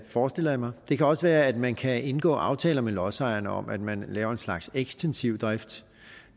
forestiller jeg mig det kan også være at man kan indgå aftaler med lodsejerne om at man laver en slags ekstensiv drift